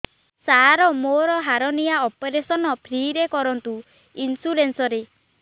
ସାର ମୋର hernia operation free ରେ କରନ୍ତୁ ଇନ୍ସୁରେନ୍ସ ରେ